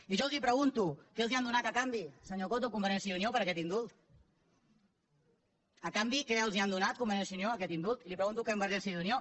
i jo els pregunto què els han donat a canvi senyor coto convergència i unió per aquest indult a canvi que els han donat convergència i unió d’aquest indult i ho pregunto a convergència i unió